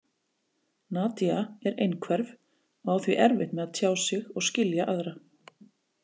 Nadia er einhverf og á því erfitt með að tjá sig og skilja aðra.